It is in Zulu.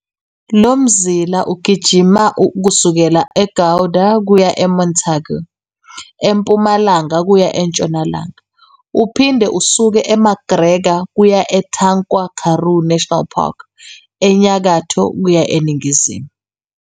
Lomzila ugijima kusukela eGouda kuya eMontagu, empumalanga kuya entshonalanga, uphinde usuke eMcGregor kuya eTankwa-Karoo National Park, enyakatho kuya eningizimu.